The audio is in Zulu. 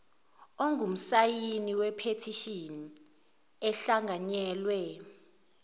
ongumsayini wephethishini ehlanganyelwe